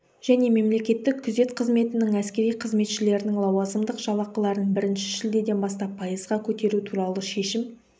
және мемлекеттік күзет қызметінің әскери қызметшілерінің лауазымдық жалақыларын бірінші шілдеден бастап пайызға көтеру туралы шешім